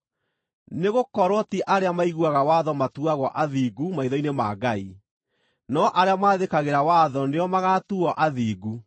Nĩgũkorwo ti arĩa maiguaga watho matuagwo athingu maitho-inĩ ma Ngai, no arĩa maathĩkagĩra watho nĩo magaatuuo athingu.